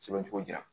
Sɛbɛn cogo di yan